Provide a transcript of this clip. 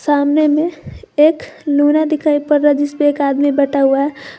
सामने में एक लूना दिखाई पड रहा है जिसपे एक आदमी बैठा हुआ है।